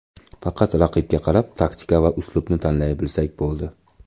Faqat raqibga qarab taktika va uslubni tanlay bilsak bo‘ldi.